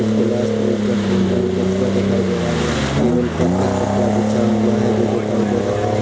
कुछ गिलास रखे हुवे है डिब्बा दिखाई दे रहा है यहाँ | टेबल पर एक कपड़ा बचा हुआ है जो दिखाई दे रहा है।